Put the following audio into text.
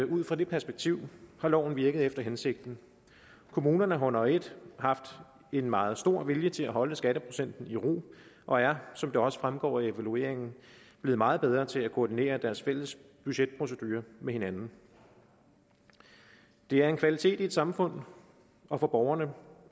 ud fra det perspektiv har loven virket efter hensigten kommunerne har under et haft en meget stor vilje til at holde skatteprocenten i ro og er som det også fremgår af evalueringen blevet meget bedre til at koordinere deres fælles budgetprocedurer med hinanden det er en kvalitet i et samfund og for borgerne